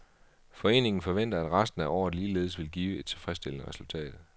Foreningen forventer, at resten af året ligeledes vil give et tilfredsstillende resultat.